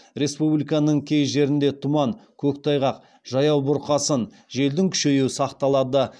республиканың кей жерлерінде тұман көктайғақ жаяу бұрқасын желдің күшеюі сақталады